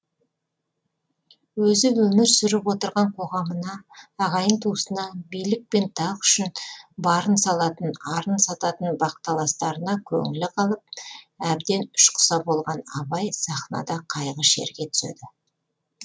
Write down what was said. өзі өмір сүріп отырған қоғамына ағайын туысына билік пен тақ үшін барын салатын арын сататын бақталастарына көңілі қалып әбден ішқұса болған абай сахнада қайғы шерге түседі